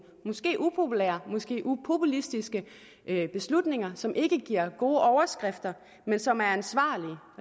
måske upopulære måske upopulistiske beslutninger som ikke giver gode overskrifter men som er ansvarlige